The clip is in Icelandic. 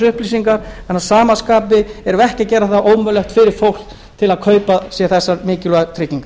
en að sama skapi erum við ekki að gera fólki ómögulegt að kaupa sér þessar mikilvægu tryggingar